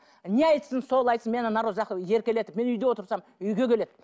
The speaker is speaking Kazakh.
не айтсын сол айтсын мені народ жақсы еркелетіп мен үйде отырсам үйге келеді